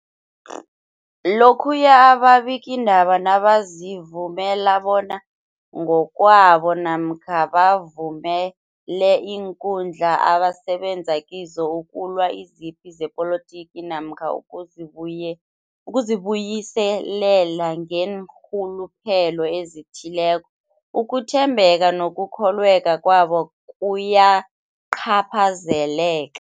Lokhuya ababikiindaba nabazivumela bona ngokwabo namkha bavumele iinkundla abasebenza kizo ukulwa izipi zepolitiki namkha ukuzi buyi ukuzi buyiselela ngeenrhuluphelo ezithileko, ukuthembeka nokukholweka kwabo kuyacaphazeleka.